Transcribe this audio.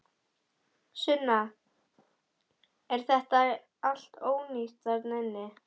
Sunna: Er þetta allt ónýtt þarna inni?